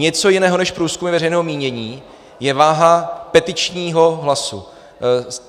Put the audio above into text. Něco jiného než průzkumy veřejného mínění je váha petičního hlasu.